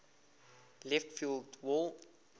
left field wall